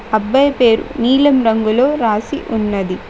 అబ్బాయి పేరు నీలం రంగులో రాసి ఉన్నది.